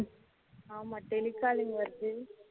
ஆமா tele calling வருது